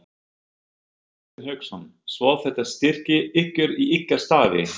Hafsteinn Hauksson: Svo þetta styrkir ykkur í ykkar starfi?